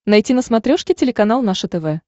найти на смотрешке телеканал наше тв